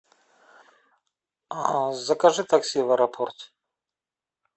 закажи такси в аэропорт